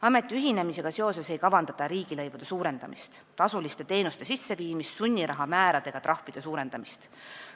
Ameti ühinemisega seoses ei kavandata riigilõivude suurendamist, tasuliste teenuste sisseviimist ega sunniraha määrade ega trahvide suurendamist.